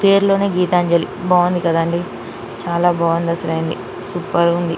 పేరులోని గీతాంజలి బాగుంది కదా అండి చాలా బాగుంది అసలింది సూపర్గా ఉంది